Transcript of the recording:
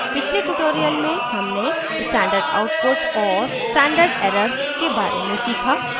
पिछले tutorial में हमने standard output और standard errors के बारे में सीखा